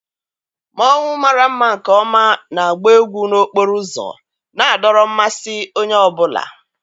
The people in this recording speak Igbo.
Mmonwu mara mma nke ọma na-agba egwu n'okporo ụzọ, na-adọrọ mmasị onye ọ bụla.